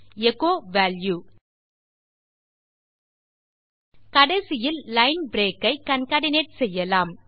echo value கடைசியில் line break ஐ concatenate செய்யலாம்